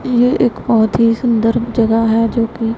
ये एक बहोत ही सुंदर जगह है जोकि--